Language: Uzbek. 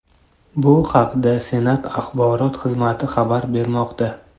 Bu haqda Senat axborot xizmati xabar bermoqda .